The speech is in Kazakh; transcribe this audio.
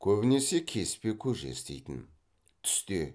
көбінесе кеспе көже істейтін түсте